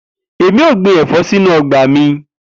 Emi o gbin ẹfọ sinu ọgba mi